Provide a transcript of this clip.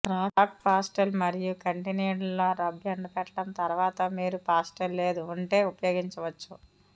crack pastel మరియు కంటి నీడ లో రబ్ ఎండబెట్టడం తర్వాత మీరు పాస్టెల్ లేదు ఉంటే ఉపయోగించవచ్చు